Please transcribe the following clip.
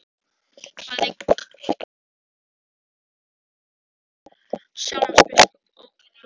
Bæði kanslari hans og Sjálandsbiskup ókyrrðust á stólum sínum.